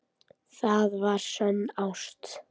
Það var sönn ást.